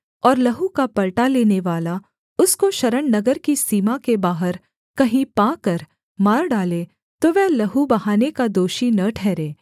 और लहू का पलटा लेनेवाला उसको शरणनगर की सीमा के बाहर कहीं पाकर मार डाले तो वह लहू बहाने का दोषी न ठहरे